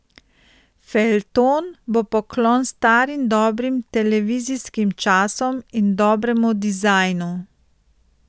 Feljton bo poklon starim dobrim televizijskim časom in dobremu dizajnu.